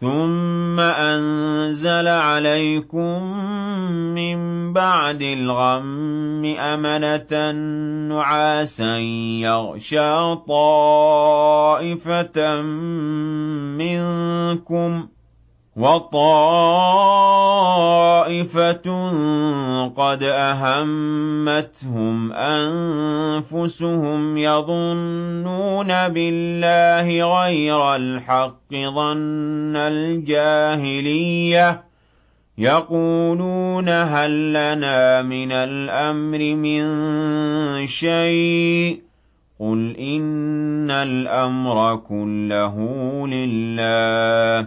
ثُمَّ أَنزَلَ عَلَيْكُم مِّن بَعْدِ الْغَمِّ أَمَنَةً نُّعَاسًا يَغْشَىٰ طَائِفَةً مِّنكُمْ ۖ وَطَائِفَةٌ قَدْ أَهَمَّتْهُمْ أَنفُسُهُمْ يَظُنُّونَ بِاللَّهِ غَيْرَ الْحَقِّ ظَنَّ الْجَاهِلِيَّةِ ۖ يَقُولُونَ هَل لَّنَا مِنَ الْأَمْرِ مِن شَيْءٍ ۗ قُلْ إِنَّ الْأَمْرَ كُلَّهُ لِلَّهِ ۗ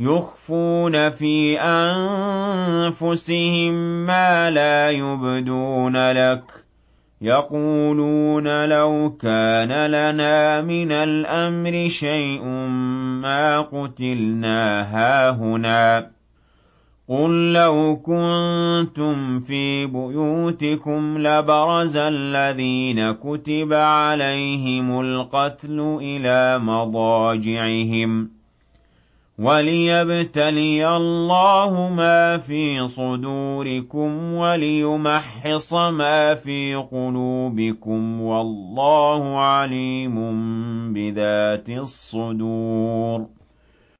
يُخْفُونَ فِي أَنفُسِهِم مَّا لَا يُبْدُونَ لَكَ ۖ يَقُولُونَ لَوْ كَانَ لَنَا مِنَ الْأَمْرِ شَيْءٌ مَّا قُتِلْنَا هَاهُنَا ۗ قُل لَّوْ كُنتُمْ فِي بُيُوتِكُمْ لَبَرَزَ الَّذِينَ كُتِبَ عَلَيْهِمُ الْقَتْلُ إِلَىٰ مَضَاجِعِهِمْ ۖ وَلِيَبْتَلِيَ اللَّهُ مَا فِي صُدُورِكُمْ وَلِيُمَحِّصَ مَا فِي قُلُوبِكُمْ ۗ وَاللَّهُ عَلِيمٌ بِذَاتِ الصُّدُورِ